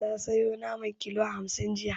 Ta sayo naman kilo hamsin jiya.